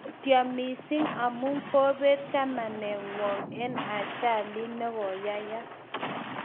Mutyo missing amu kobet chamaningwong eng ajalit nigoyeyak